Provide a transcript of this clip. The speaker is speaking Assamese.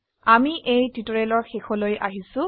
আমৰা এই টিউটোৰিয়ালেৰ শেষলৈ চলে এসেছি